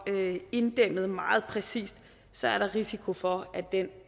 inddæmmet meget præcist så er der risiko for at den